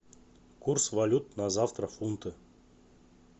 курс валют на завтра фунты